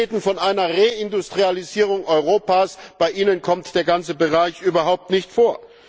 Wir reden von einer Reindustrialisierung Europas, bei Ihnen kommt der ganze Bereich überhaupt nicht vor!